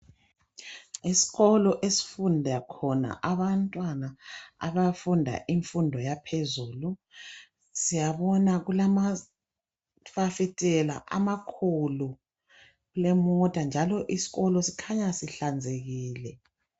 Isikolo esifunda khona abantwana abafunda imfundo yaphezulu siyabona kulamafasitela amakhulu kulemota njalo isikolo sikhanya sihlanzekile